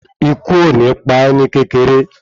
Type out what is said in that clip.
Ikú ò ní pa é ní kékeré